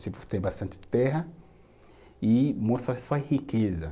Tipo, ter bastante terra e mostrar sua riqueza.